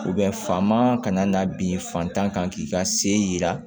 ka na bin fatan kan k'i ka se yira